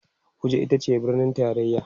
Abuja itace birnin taraya